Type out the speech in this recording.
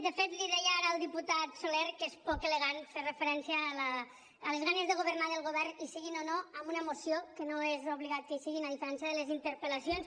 de fet li deia ara al diputat soler que és poc elegant fer referència a les ganes de governar del govern hi siguin o no amb una moció que no és obligat que hi siguin a diferència de les interpel·lacions